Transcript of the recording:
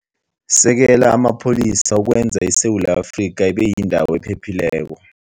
Sekela Amapholisa Ukwenza ISewula Afrika Ibe Yindawo Ephephileko